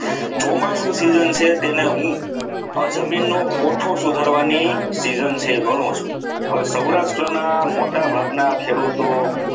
ચોમાસુ season છે તેની હું જમીનનો કોઠો સુધારવાની season છે એ ઘણું છું હવે સૌરાષ્ટ્રના મોટાભાગના ખેડૂતો